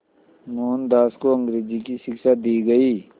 मोहनदास को अंग्रेज़ी की शिक्षा दी गई